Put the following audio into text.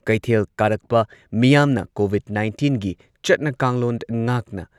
ꯀꯩꯊꯦꯜ ꯀꯥꯔꯛꯄ ꯃꯤꯌꯥꯝꯅ ꯀꯣꯚꯤꯗ ꯅꯥꯏꯟꯇꯤꯟꯒꯤ ꯆꯠꯅ ꯀꯥꯡꯂꯣꯟ ꯉꯥꯛꯅ